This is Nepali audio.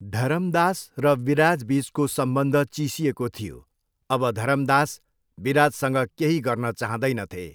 धरमदास र विराजबिचको सम्बन्ध चिसिएको थियो, अब धरमदास विराजसँग केही गर्न चाहँदैनथे।